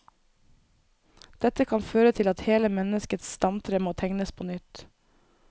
Dette kan føre til at hele menneskets stamtre må tegnes på nytt.